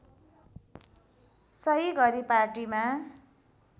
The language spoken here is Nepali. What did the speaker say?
सही गरी पार्टीमा